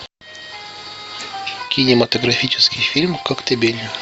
кинематографический фильм коктебель